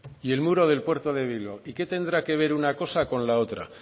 y el muro del puerto de bilbao y que tendrá que ver una cosa con la otra